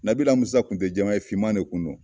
Nabila Musa kun tɛ jɛman ye, fiman ne kun non.